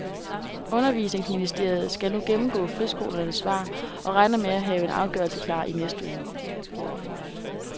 Undervisningsministeriet skal nu gennemgå friskolernes svar og regner med at have en afgørelse klar i næste uge.